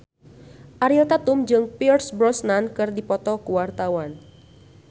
Ariel Tatum jeung Pierce Brosnan keur dipoto ku wartawan